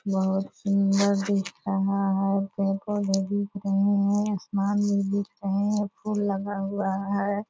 बहुत सुंदर दिख रहा है | पेड़ पौधे दिख रहे हैं | आसमान भी दिख रहे हैं फूल लगा हुआ है |